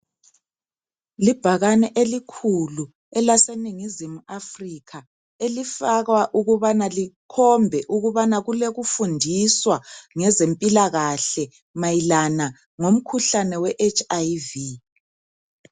Libhakane elikhulu elaseningizimu Afrikha elifakwa ukubana likhombe ukubana kulokufundiswa ngezempilakahle mayelana ngomkhuhlane weHIV.